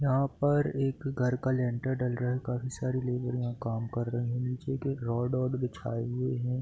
यहाँ पर एक घर का लेंटर डल रहा है काफ़ी सारे लेबर यहाँ काम कर रहें हैं नीचे भी रोड -वोड बिछाये हुए हैं।